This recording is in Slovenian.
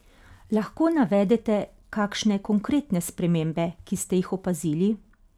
Lahko navede kakšne konkretne spremembe, ki ste jih opazili?